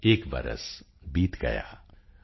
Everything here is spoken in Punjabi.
ਏਕ ਬਰਸ ਬੀਤ ਗਯਾ॥